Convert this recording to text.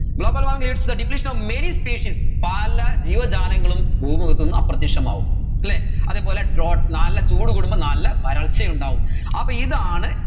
globalwarming leads the depletion of many species പല ജീവജാലങ്ങളും ഭൂമുഖത്ത് നിന്ന് അപ്രത്യക്ഷ്യമാവും അല്ലെ അതേപോലെ drought നല്ല ചൂട് കൂടുമ്പോൾ നല്ല വരൾച്ച ഉണ്ടാവും അപ്പോ ഇതാണ്